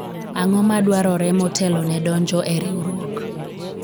ang'o ma dwarore motelo ne donjo e riwruok ?